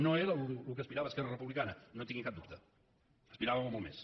no era al que aspirava esquerra republicana no en tinguin cap dubte aspiràvem a molt més